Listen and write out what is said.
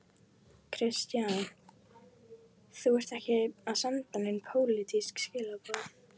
Kristján: Þú ert ekki að senda nein pólitísk skilaboð?